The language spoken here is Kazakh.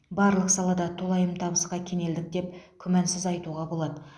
барлық салада толайым табысқа кенелдік деп күмәнсіз айтуға болады